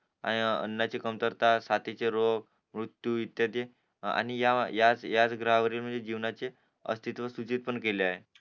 आणि अन्नाची कमतरता साथीचे रोग मृत्यू इत्यादी आणि त्याच ग्रहावरील म्हणजे जीवनाचे असित्व सूचित पण केले आहे